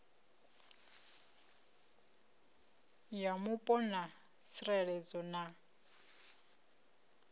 ya mupo na tsireledzo na